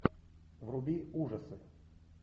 вруби ужасы